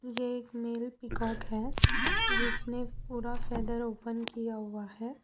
ये एक male peacock हैं जिसने पूरा फैदर ओपन किया हुआ हैं।